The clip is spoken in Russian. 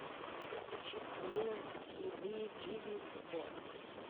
включи аминэ хибиджибис бонус